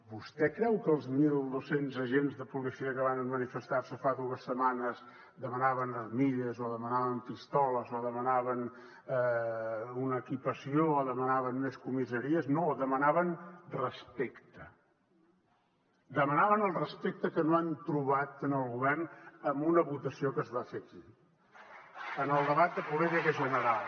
vostè creu que els mil dos cents agents de policia que van mani festar se fa dues setmanes demanaven armilles o demanaven pistoles o demanaven una equipació o demanaven més comissaries no demanaven respecte demanaven el respecte que no han trobat en el govern amb una votació que es va fer aquí en el debat de política general